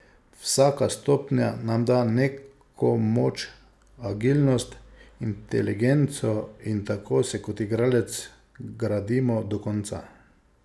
Vsaka stopnja nam da neko moč, agilnost, inteligenco in tako se kot igralec gradimo do konca.